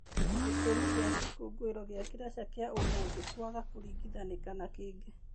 Gĩtũmi kĩa gĩkũngũĩrwo gĩa Kalasha kĩa ũmũthe kwaga kũringithanĩka na kĩngĩ.